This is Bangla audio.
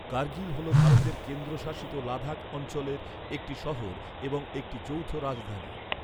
কার্গিল হল ভারতের কেন্দ্রশাসিত লাদাখ অঞ্চলের একটি শহর এবং একটি যৌথ রাজধানী।